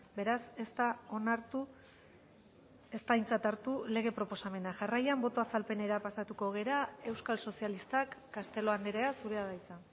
beraz ez da onartu ez da aintzat hartu lege proposamena jarraian boto azalpenera pasatuko gara euskal sozialistak castelo andrea zurea da hitza